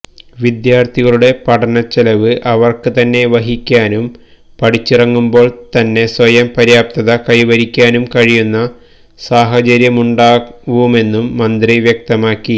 വിദ്യാർഥികളുടെ പഠനച്ചെലനവ് അവർക്ക് തന്നെ വഹിക്കാനും പഠിച്ചിറങ്ങുമ്പോൾ തന്നെ സ്വയം പര്യാപ്തത കൈവരിക്കാനും കഴിയുന്ന സാഹചര്യമുണ്ടാവുമെന്നും മന്ത്രി വ്യക്തമാക്കി